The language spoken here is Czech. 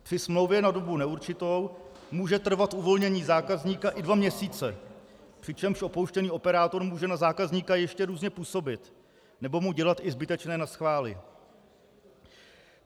Při smlouvě na dobu neurčitou může trvat uvolnění zákazníka i dva měsíce, přičemž opouštěný operátor může na zákazníka ještě různě působit nebo mu dělat i zbytečné naschvály.